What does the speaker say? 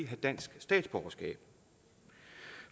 have dansk statsborgerskab